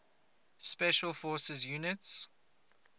special forces units